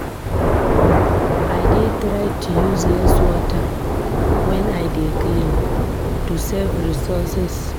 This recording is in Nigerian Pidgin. I dey try to use less water when I dey clean to save resources.